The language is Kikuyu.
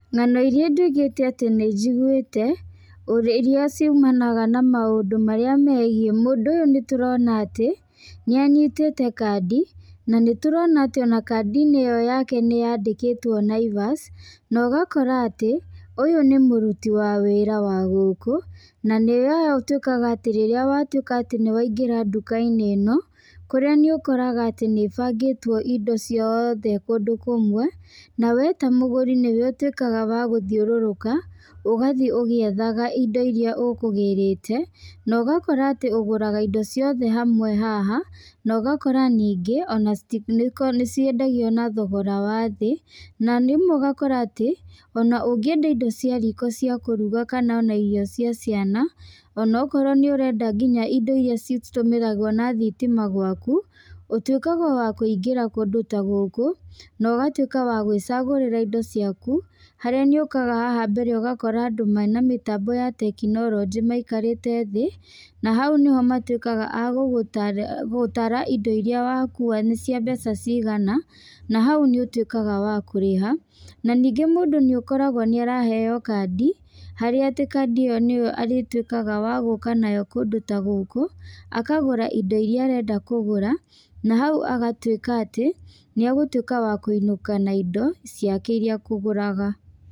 Ngano irĩa nduĩkĩte atĩ nĩ njiguĩte, irĩa ciumanaga na maũndũ megiĩ mũndũ ũyũ nĩ tũrona atĩ nĩ anyitĩte kandi, na kandi ĩyo yake nĩ yandĩkĩtwo Naivas. Na ũgakora atĩ ũyũ nĩ mũruti wa wĩra wa gũkũ na nĩ ũtuĩkaga atĩ rĩrĩa watuĩka atĩ nĩ waingĩra nduka-inĩ ĩno kũrĩa nĩ ũkoraga atĩ nĩ ĩbangĩtwo indo ciothe kũndũ kũmwe. Na we ta mũgũri nĩwe ũtuĩkaga wa gũthiũrũrũka ũgathiĩ ũgĩethaga indo irĩa ũkũgĩrĩte. Na ũgakora atĩ ũgũraga indo ciothe haha na ũgakora atĩ ningĩ nĩ ciendagio na thogora wa thĩ. Na rĩmwe ũgakora atĩ ungĩenda indo cia riko cia kũruga kana irio cia ciana, ona okorwo nĩ ũrenda nginya indo irĩa citũmĩragwo na thitima gwaku, ũtuĩkaga o wakũingĩra kũndũ ta gũkũ, na ugatuĩka wa gwĩcagũrĩra indo ciaku. Harĩa nĩ ũkaga haha mbere ũgakora andũ mena mĩtambo ya tekinoronjĩ maikarĩte thĩ, na hau nĩho matuĩkaga a gũtara indo irĩa wakua nĩ cia mbeca cigana, na hau nĩ ũtuĩkaga wa kũrĩha. Na ningĩ mũndũ nĩ ũkoragwo nĩ araheo kandi, harĩa atĩ kandi ĩyo nĩ arĩtuĩkaga wa gũka nayo kũndũ ta gũkũ. Akagũra indo irĩa arenda kũgũra na hau agatuĩka atĩ nĩ ekũinũka na indo irĩa ekũgũraga.